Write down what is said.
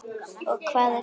Og hvað er það?